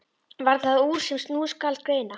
Varð það úr, sem nú skal greina.